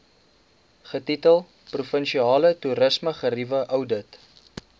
getitel provinsiale toerismegerieweoudit